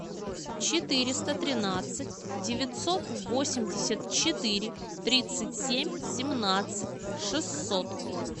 четыреста тринадцать девятьсот восемьдесят четыре тридцать семь семнадцать шестьсот